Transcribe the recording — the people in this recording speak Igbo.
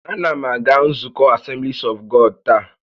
A na m aga nzukọ Asemblis ọf Gọd taa